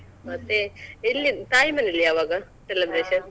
ಮತ್ತೆ ಇಲ್ಲಿ ತಾಯಿ ಮನೆಯಲ್ಲಿ ಯಾವಾಗ celebration ?